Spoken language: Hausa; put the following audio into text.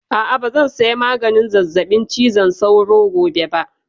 A'a, ba zan saya maganin zazzaɓin cizon sauro gobe ba